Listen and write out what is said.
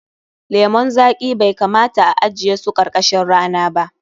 Lemun zaƙi bai kamata a ajiye su karkashin rana ba.